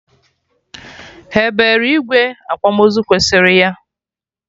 Ha ebere igwe akwamozu kwesịrị ya?